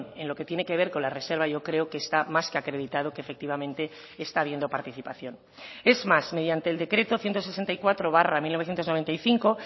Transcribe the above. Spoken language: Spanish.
en lo que tiene que ver con la reserva yo creo que está más que acreditado que efectivamente está viendo participación es más mediante el decreto ciento sesenta y cuatro barra mil novecientos noventa y cinco